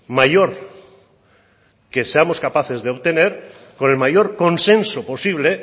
mayor que seamos capaces de obtener con el mayor consenso posible